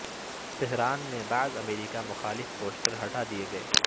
Tehran میں بعض امریکہ مخالف پوسٹر ہٹا دیے گئے